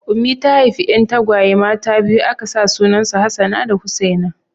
Ummi ta haifi 'yan tagwaye mata biyu aka sunan su Hassana da Husseina.